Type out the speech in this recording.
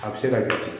A bɛ se ka kɛ ten